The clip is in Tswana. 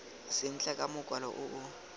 sentle ka mokwalo o o